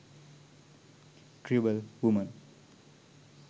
tribal woman